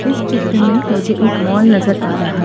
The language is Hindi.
इस चित्र में मुझे एक मॉल नजर आ रहा है।